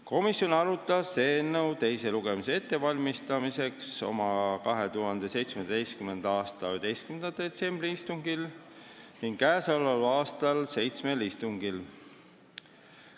Komisjon arutas eelnõu teise lugemise ettevalmistamiseks oma 11. detsembri istungil ning käesoleval aastal seitsmel istungil.